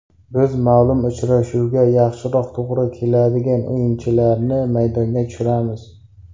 Biz ma’lum uchrashuvga yaxshiroq to‘g‘ri keladigan o‘yinchilarni maydonga tushiramiz.